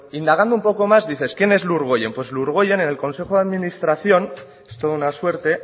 indagando un poco más dices quién es lurgoien pues lurgoien en el consejo de administración es toda una suerte